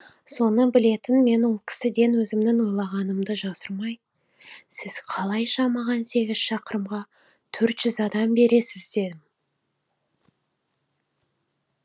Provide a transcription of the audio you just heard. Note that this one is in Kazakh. соны білетін мен ол кісіден өзімнің ойлағанымды жасырмай сіз қалайша маған сегіз шақырымға төрт жүз адам бересіз дедім